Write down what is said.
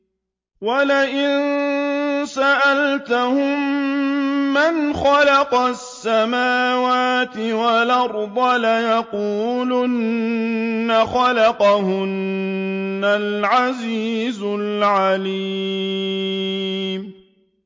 وَلَئِن سَأَلْتَهُم مَّنْ خَلَقَ السَّمَاوَاتِ وَالْأَرْضَ لَيَقُولُنَّ خَلَقَهُنَّ الْعَزِيزُ الْعَلِيمُ